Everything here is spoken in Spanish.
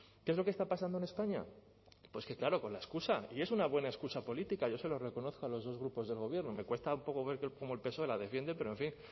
qué es lo que está pasando en españa pues que claro con la excusa y es una buena excusa política yo se lo reconozco a los dos grupos del gobierno me cuesta un poco ver cómo el psoe la defiende pero en fin